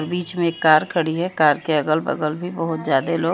बीच में एक कार खड़ी है कार के अगल बगल भी बहोत ज्यादा ही लोग--